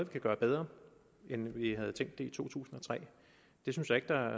kan gøre bedre end vi havde tænkt det i to tusind og tre det synes jeg ikke der